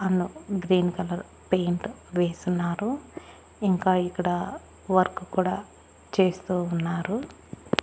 అన్నో green colour paint వేసున్నారు ఇంకా ఇక్కడ వర్క్ కూడా చేస్తూ ఉన్నారు.